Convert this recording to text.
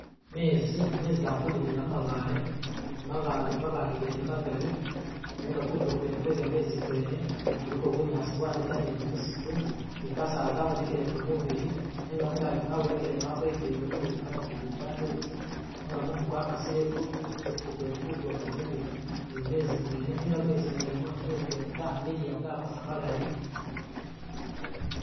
Mezi, mezi gali kudimila mumabale mabaale mabaale gene magali, nenga kutulo kwene kwe gamezi kwene kuliko bunyaasi bwaneta ni gyimisitu ni kasaala kabonekeleko mubili nenga mungaji mwabonekele mwakelekele mulimo ni bunamufeli budambi buti nenga mumu gwakasile ku ku kumisitu kwene kutulo kwene ni ku ni mumezi mwene nenga mumezi mwene mezi gene gakosa malayi